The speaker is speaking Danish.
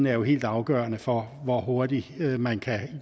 er helt afgørende for hvor hurtigt man kan